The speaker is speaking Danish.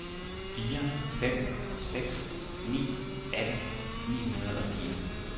fire fem seks ni atten ni hundrede og fire